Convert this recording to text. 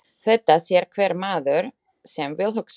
Þetta sér hver maður sem vill hugsa.